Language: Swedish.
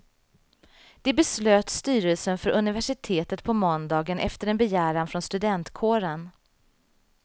Det beslöt styrelsen för universitetet på måndagen efter en begäran från studentkåren.